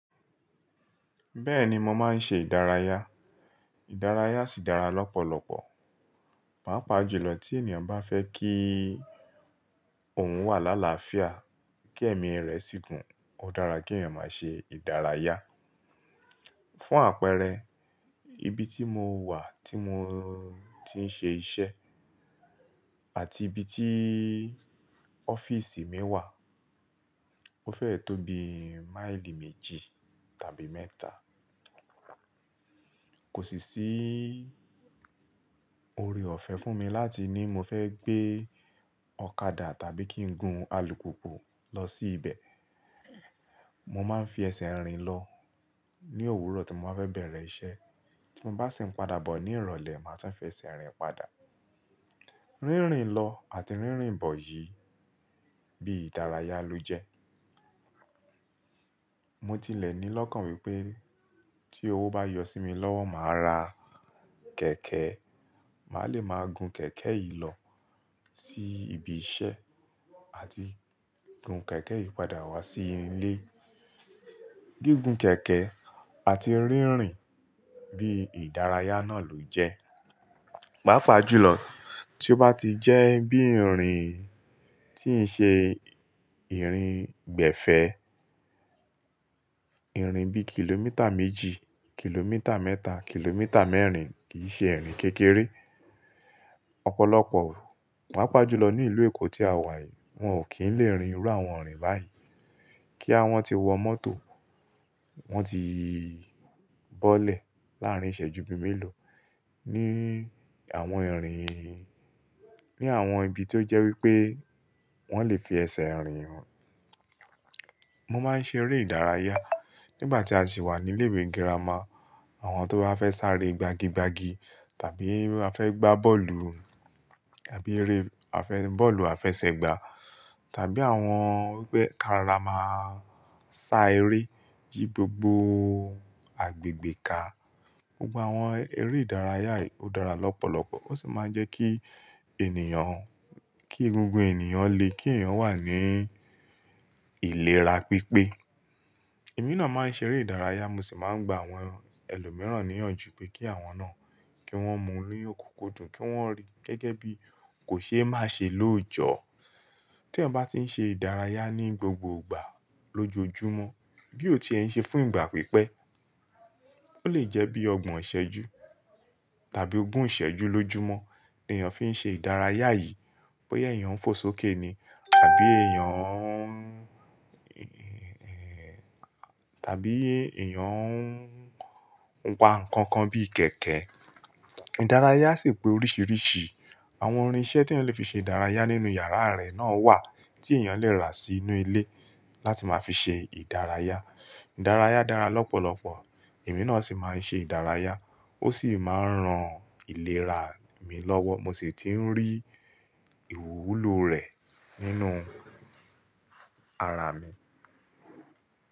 Bẹ́ẹ̀ ni mo máa ń ṣe ìdárayá. Ìdárayá sì dára lọ́pọ̀lọpọ̀. Pàápàá jùlọ tí ènìyàn bá fẹ́ kí òun wà lálaáfíà, kí ẹ̀mí rẹ̀ sì gùn, ó dára kí ènìyàn máa ṣe ìdárayá. Fún àpẹẹrẹ, ibi tí mo wà tí mo ti ń ṣe iṣẹ́ àti ibi tí ọ́fíísì mi wà, ó fẹ́ẹ̀ tó bi máìlì méjì tàbí mẹ́ta. Kò sì sí orí ọ̀fẹ́ fún mi láti ní mo fẹ́ gbé ọ̀kadà tàbí kí n gun alùpùpù lọ sí ibẹ̀. Mo máa ń fi ẹsẹ̀ rìn lọ ní òwúrọ̀ tí mo bá fẹ́ bẹ̀rẹ̀ iṣẹ́. Tí mo bá sì ń padà bọ ní ìrọ̀lẹ́, màá tún fi ẹsẹ̀ rìn padà. Rínrin lọ àti rínrin bọ̀ yìí bí ìdárayá ló jẹ́. Mo tilẹ̀ ní lọ́kàn wípé tí owó bá yọ sí mi lọ́wọ́, màá ra kẹ̀kẹ́. Màá le máa gun kẹ̀kẹ́ yìí lọ sí ibi iṣẹ́ àti gun kẹ̀kẹ́ yìí padà wá sí ilé. Gígùn kẹ̀kẹ́ àti rínrin bí ìdárayá náà ló jẹ́. Pàápàá jùlọ tí ó bá ti jẹ́ bí ìrìn tí ń ṣe ìrìn gbẹ̀fẹ̀, ìrìn bí kìlómítà méjì, kìlómítà mẹ́ta, kìlómítà mẹ́rin kì í ṣe ìrìn kékeré. Ọ̀pọ̀lọpọ̀, pàápàá jùlọ ní ìlú Èkó tí a wà yìí, wọ́n ò kí ń lè rin irú àwọn ìrìn báyìí. Kí àwọn ti wọ mọ́tò, wọ́n ti bọ́lẹ̀ láàrín ìṣẹ́ju méèló ní àwọn ìrìn, ní àwọn ibi tó jẹ́ wípé wọ́n lè fi ẹsẹ̀ rìn. Mo máa ń ṣe eré ìdárayá nígbà tí a sì wà ní ilé ìwé girama. Àwọn tó bá fẹ́ sáré gbagi gbagi tàbí a fẹ́ gbá bọ́ọ̀lù tàbí eré a fẹ́, bọ́ọ̀lù a fẹ́ ṣẹ̀gbà tàbí àwọn bẹ́ karama sá eré jí gbogbo agbègbè ká. Gbogbo àwọn eré ìdárayá yìí ó dára lọ́pọ̀lọpọ̀. Ó sì máa ń jẹ́ kí ènìyàn, kí gbogbo ènìyàn lè kí ènìyàn wà ní ìlera pípé. Èmi náà máa ń ṣe eré ìdárayá, mo sì máa ń gba àwọn ẹlòmíràn níyànjú pé kí àwọn náà kí wọ́n mu inú òkòkò dùn, kí wọ́n rí gẹ́gẹ́ bí kò ṣe é má ṣe lóòjọ́. Tí ènìyàn bá ti ń ṣe ìdárayá ní gbogbo ìgbà lójoojúmọ́, bí ó ti ṣe ń ṣe fún ìgbà pípẹ́, ó lè jẹ́ bí ọgbọ́n ìṣẹ́jú tàbí ogún ìṣẹ́jú lójoojúmọ́ tí ènìyàn fi ń ṣe ìdárayá yìí. Bóyá ènìyàn ń fò sókè ni tàbí ènìyàn, tàbí ènìyàn ń wa nǹkan kan bí ìkẹ́kẹ́. Ìdárayá sì pé oríṣiríṣi. Àwọn orin iṣẹ́ tí ènìyàn le fi ṣe ìdárayá nínú yàrá rẹ̀ náà wà tí ènìyàn le rà sínú ilé láti máa fi ṣe ìdárayá. Ìdárayá dára lọ́pọ̀lọpọ̀. Èmi náà sì máa ń ṣe ìdárayá, ó sì máa ń ran ìlera mi lọ́wọ́. Mo sì ti ń rí ìwúlò rẹ̀ nínú ara mi.